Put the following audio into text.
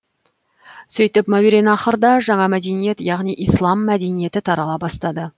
сөйтіп мауераннахрда жаңа мәдениет яғни ислам мәдениеті тарала бастады